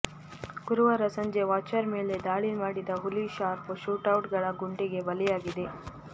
ಗುರುವಾರ ಸಂಜೆ ವಾಚರ್ ಮೇಲೆ ದಾಳಿ ಮಾಡಿದ ಹುಲಿ ಶಾರ್ಪ್ ಶೂಟರ್ಗಳ ಗುಂಡಿಗೆ ಬಲಿಯಾಗಿದೆ